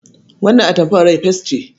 Wannan atamfar rai fes ce.